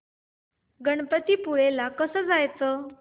गणपतीपुळे ला कसं जायचं